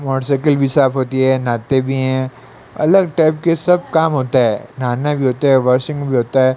Motorcycle भी साफ होती है नहाते भी हैं अलग टाइप के सब काम होता है नहाना भी होते हैं वॉशिंग भी होता है।